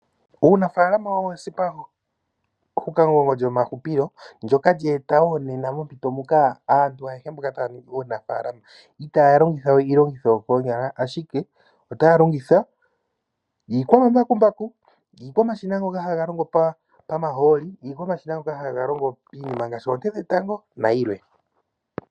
Uunafalama owo ehukamugongo lyomahupilo ndyoka lye eta wo nena mompito muka aantu ayehe taya popi uunafalama itaya longitha we iilongitho yokoonyala, ashike otaya longitha iikwamambakumbaku, iikwamashina ngoka haga longo komahooli, iikwamashina mbyoka hayi longo kiinima ngaashi oonte dhetango nayilwe.